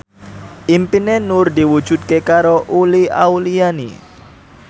impine Nur diwujudke karo Uli Auliani